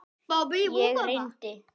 Ég reyndi.